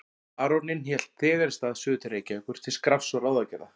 Baróninn hélt þegar í stað suður til Reykjavíkur til skrafs og ráðagerða.